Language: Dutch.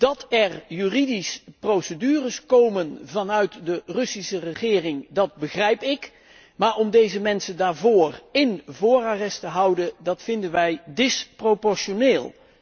Dat er juridisch procedures komen vanuit de Russische regering begrijp ik, maar om deze mensen daarvoor in voorarrest te houden, vinden wij disproportioneel.